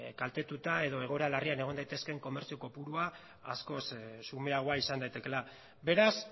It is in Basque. kaltetuta edo egoera larrian egon daitezkeen komertzio kopurua askoz xumeagoa izan daitekeela beraz